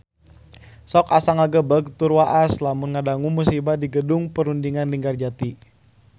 Sok asa ngagebeg tur waas lamun ngadangu musibah di Gedung Perundingan Linggarjati